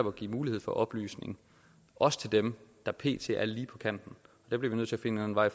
at give mulighed for oplysning også til dem der pt er lige på kanten der bliver vi nødt til at finde en vej